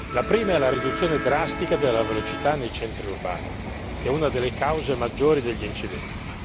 La prima è la riduzione drastica della velocità nei centri urbani, che è una delle cause maggiori degli incidenti.